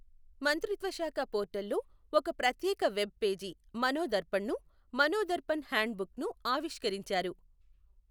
మంత్రిత్వశాఖ పోర్టల్లో ఒక ప్రత్యేక వెబ్ పేజీ మనోదర్ఫణ్ను, మనోదర్పణ్ హ్యాండ్ బుక్ను ఆవిష్కరించారు.